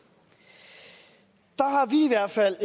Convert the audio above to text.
har vi i hvert fald